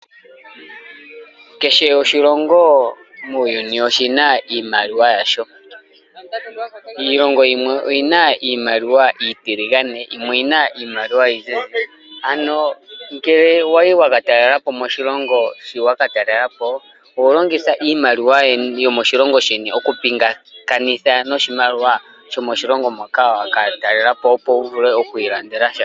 Kehe oshilongo muuyuni oshina iimaliwa yasho. Iilongo yimwe oyina iimaliwa iitiligane yimwe oyina iimaliwa iizizi, ano ngele wayi wakatalela po moshilongo shiwakatalela po, oholongitha iimaliwa yomoshilongo sheni okupingakanitha noshimaliwa shomoshilongo moka wakatalela po opo wuvule okwiilandela sha.